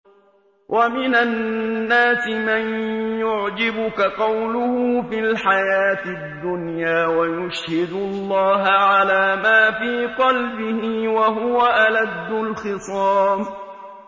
وَمِنَ النَّاسِ مَن يُعْجِبُكَ قَوْلُهُ فِي الْحَيَاةِ الدُّنْيَا وَيُشْهِدُ اللَّهَ عَلَىٰ مَا فِي قَلْبِهِ وَهُوَ أَلَدُّ الْخِصَامِ